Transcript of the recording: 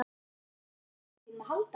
Þarftu ekki á peningunum mínum að halda!